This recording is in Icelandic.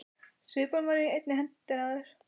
Svipan var enn í hendinni á þér.